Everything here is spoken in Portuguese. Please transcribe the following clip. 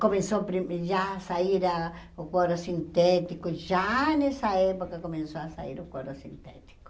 Começou pri já a sair a o couro sintético, já nessa época começou a sair o couro sintético.